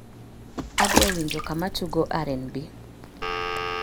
adwa winjo kama tugo r.n.b